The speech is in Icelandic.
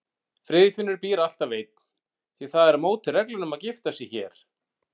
Friðfinnur býr alltaf einn, því það er á móti reglunum að gifta sig hér.